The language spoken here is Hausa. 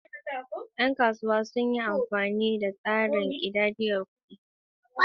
Yan kasuwa sun yi amfani da tsarin ƙidayar al'ada, "nnu ego," don ƙididdige kayayyaki a kasuwa.